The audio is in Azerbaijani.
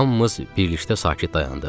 Və hamımız birlikdə sakit dayandıq.